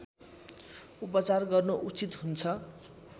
उपचार गर्नु उचित हुन्छ